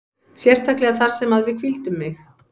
Sérstaklega þar sem að við hvíldum mig.